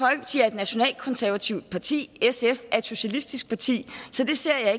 nationalkonservativt parti sf er et socialistisk parti så det ser